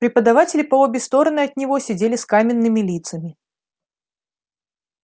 преподаватели по обе стороны от него сидели с каменными лицами